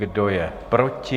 Kdo je proti?